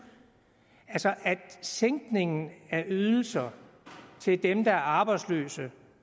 altså at en sænkning af ydelser til dem der er arbejdsløse